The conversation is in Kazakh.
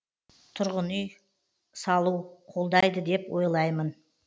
тұрғын үй салу қолдайды деп ойлаймын